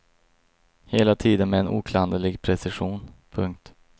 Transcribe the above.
Hela tiden med en oklanderlig precision. punkt